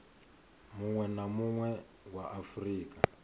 munwe na munwe wa afurika